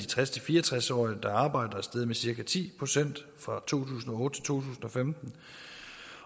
tres til fire og tres årige der arbejder steget med cirka ti procent fra to tusind og tusind og femten